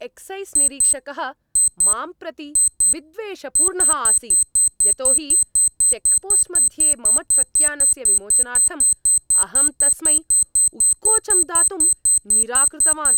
Exercise निरीक्षकः मां प्रति विद्वेषपूर्णः आसीत् यतो हि चेक्पोस्ट् मध्ये मम ट्रक्यानस्य विमोचनार्थम् अहं तस्मै उत्कोचं दातुं निराकृतवान्।